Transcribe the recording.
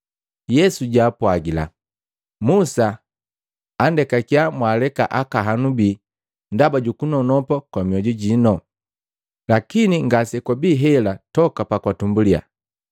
Yesu jaapwagila, “Musa anndekakiya mwaleka akaahanu bii ndaba jukunonopa kwa mioju jiino. Lakini ngase kwabii hela toka pakwatumbulia.